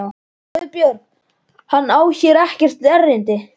GUÐBJÖRG: Hann á hér ekkert erindi.